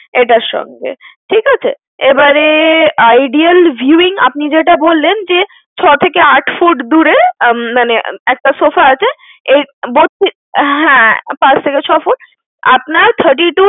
এটার সঙ্গে। ঠিক আছে? এবারে ideal viewing আপনি যেটা বললেন, যে, ছয় থেকে আট foot দূরে, মানে একটা sofa আছে এই হ্যাঁ, পাঁচ থেকে ছয় ফুট, আপনার thirty-two